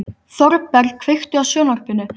Þorberg, kveiktu á sjónvarpinu.